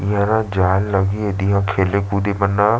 यहाँ जाल लगे दिख रहे है खेल कूद भी बना--